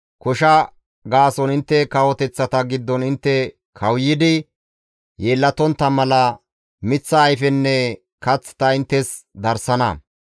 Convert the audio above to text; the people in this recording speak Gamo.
Kosha gaason intte kawoteththata giddon intte kawuyidi yeellatontta mala miththa ayfenne kath ta inttes darsana.